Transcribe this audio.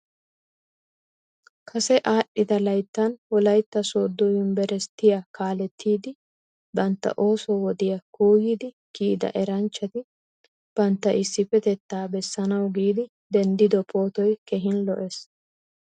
Kase aadhdhida layttan wolaytta sooddo yunbberesttiya kaaleettidi bantta ooso wodiya kuuyidi kiyida eranchchati bantta issippetettaa bessanawu giidi denddido pootoy keeehin lo'ees.